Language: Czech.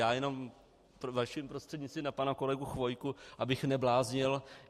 Já jenom vaším prostřednictvím na pana kolegu Chvojku - abych nebláznil.